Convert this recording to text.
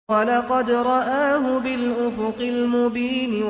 وَلَقَدْ رَآهُ بِالْأُفُقِ الْمُبِينِ